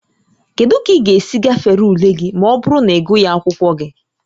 Kedu ka ị ga-esi gafere ule gị ma ọ bụrụ na ịgụghị akwụkwọ gị?